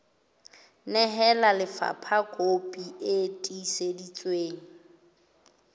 nehela lefapha kopi e tiiseditsweng